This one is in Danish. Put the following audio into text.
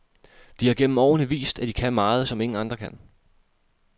De har gennem årene vist, at de kan meget, som ingen andre kan.